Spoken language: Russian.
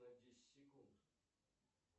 на десять секунд